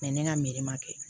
ne ka ma kɛ